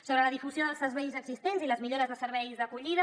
sobre la difusió dels serveis existents i les millores de serveis d’acollida